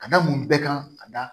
Ka da mun bɛɛ kan ka da